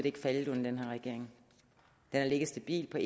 ikke faldet under den her regering den har ligget stabilt på